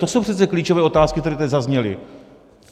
To jsou přece klíčové otázky, které tady zazněly.